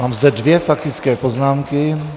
Mám zde dvě faktické poznámky.